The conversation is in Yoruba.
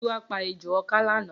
Giwa pà éjó ọkǎ lànã